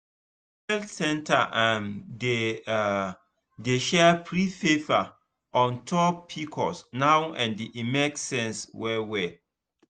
the health center um dey um dey share free paper on top pcos now and e make sense well well.